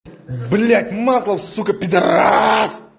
б масло в сукко